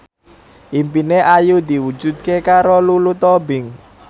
impine Ayu diwujudke karo Lulu Tobing